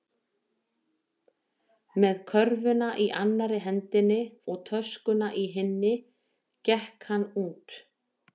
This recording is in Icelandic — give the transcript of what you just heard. Með körfuna í annarri hendinni og töskuna í hinni gekk hann út.